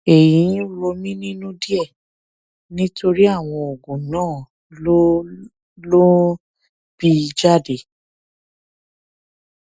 èyí ń rò mí nínú díẹ nítorí àwọn oògùn náà ló ló ń bì jáde